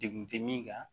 Degun tɛ min kan